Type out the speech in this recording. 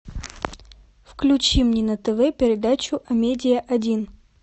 включи мне на тв передачу амедиа один